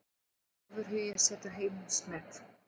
Ofurhugi setur heimsmet